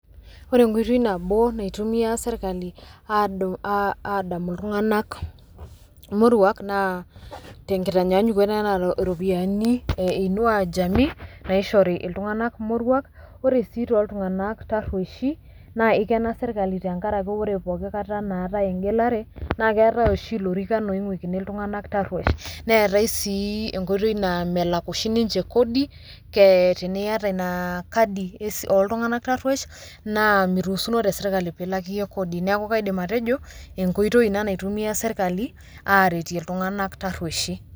Ore enkoitoi nabo naitumia sirkali adamu iltung'anak morruak naa tenkitanyanyukoto enena ropiyiani e Inua Jamii naishore iltung'anak morruak ore sii toltung'anak tarruoishi naa ikena sirkali tenkaraki ore pooki kata naatai engelare naa keetai oshi ilorikan oing'uikini iltung'anak tarruoish neetai sii enkoitoi naa melak oshi ninche kodi ee teniata ina kadi oltung'anak tarruoish naa miruusuno tesirkali piilak iyie kodi neeku kaidim atejo enkoitoi ina naitayuo sirkali aaretie iltung'anak tarruoishi.